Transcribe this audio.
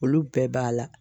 Olu bɛɛ b'a la